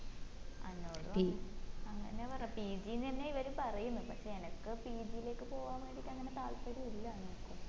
എന്നോടും അങ്ങന അങ്ങന്നെപറഞ്ഞെ pg ന്നേയാ ഇവരും പറയിന്ന് പക്ഷെ എനക്ക് pg ലേക്ക് പോവാൻ വേണ്ടിയിട്ട് അങ്ങന താൽപ്പര്യം ഇല്